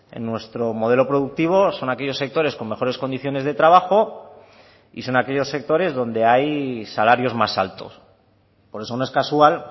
en nuestro modelo productivo son aquellos sectores con mejores condiciones de trabajo y son aquellos sectores donde hay salarios más altos por eso no es casual